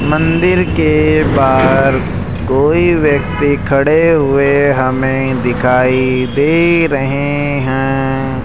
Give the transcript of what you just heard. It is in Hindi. मंदिर के बाहर कई व्यक्ति खड़े हुए हमें दिखाई दे रहे हैं।